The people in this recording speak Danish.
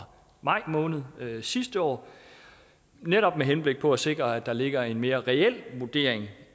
maj måned sidste år netop med henblik på at sikre at der ligger en mere reel vurdering